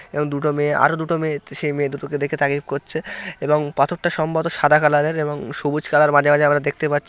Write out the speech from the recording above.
এবং দুটো মেয়ে আর দুটো তে মেয়ে সেই মেয়ে দুটোকে দেখে তারিফ করছে এবং পাথরটা সম্ভবত সাদা কালার এর এবং সবুজ কালার মাঝে মাঝে আমরা দেখতে পাচ্ছ --